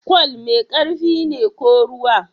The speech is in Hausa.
Kwal mai ƙarfi ne ko ruwa?